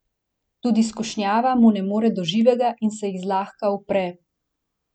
Tudi skušnjava mu ne more do živega in se ji zlahka upre.